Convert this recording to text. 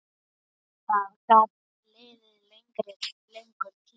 Það gat liðið langur tími.